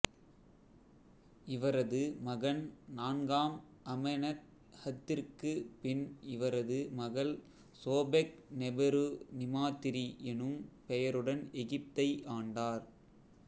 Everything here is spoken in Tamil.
இவரது மகன் நான்காம் அமெனத்ஹத்திற்குப் பின் இவரது மகள் சோபெக்நெபெரு நிமாத்திரி எனும் பெயருடன் எகிப்தை ஆண்டார்